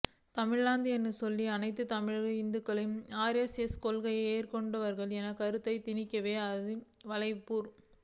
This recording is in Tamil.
தமிழ்ஹிந்து என்று சொல்லி அனைத்துத்தமிழ் இந்துக்களும் ஆர் எஸ் எஸ் கொள்கைகளை ஏற்றுக்கொண்டவர்கள் என்ற கருத்தைத் திணிக்கவே அந்த வலைப்பூ